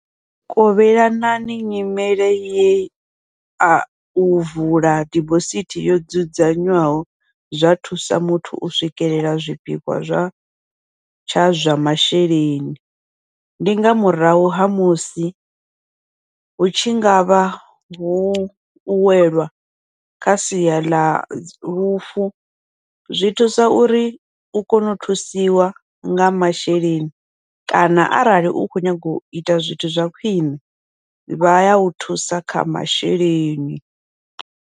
Kovhelanani nyimele ye au vula dibosithi yo dzudzanywaho zwa thusa muthu u swikelela zwipikwa zwa tsha zwa masheleni, ndi nga murahu ha musi hu tshi ngavha hu u welwa kha sia ḽa lufu, zwi thusa uri u kone u thusiwa nga masheleni kana arali u khou nyanga uita zwithu zwa khwiṋe vha yau thusa kha masheleni.